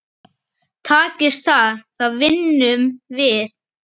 Takist það þá vinnum við.